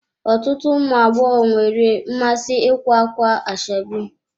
Ọtụtụ ụmụ agbọghọ nwere mmasị ikwa ákwà ashebi